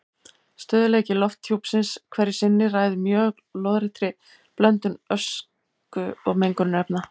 Stöðugleiki lofthjúpsins hverju sinni ræður mjög lóðréttri blöndun ösku og mengunarefna.